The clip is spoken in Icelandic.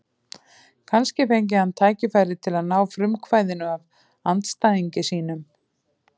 Kannski fengi hann tækifæri til að ná frumkvæðinu af andstæðingi sínum.